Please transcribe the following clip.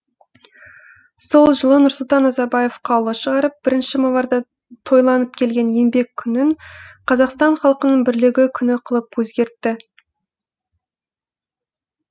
сол жылы нұрсұлтан назарбаев қаулы шығарып бірінші мамырда тойланып келген еңбек күнін қазақстан халқының бірлігі күні қылып өзгертті